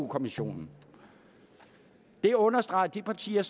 kommissionen det understreger at de partier